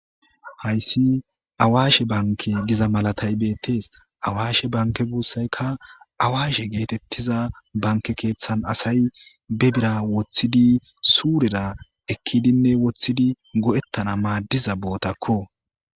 hayssi awaashe banke giza malatay beettees awaashe banke guussaykka awaashe geetettiza banke keeththan asay be bira woththidi suureda ekkidinne woththidi go7ettana maaddiza bootakko